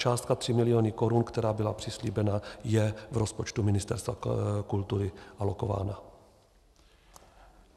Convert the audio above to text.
Částka 3 miliony korun, která byla přislíbena, je v rozpočtu Ministerstva kultury alokována.